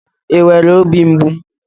I nwere óbì mgbu?